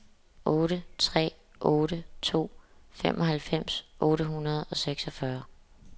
otte tre otte to femoghalvfems otte hundrede og seksogfyrre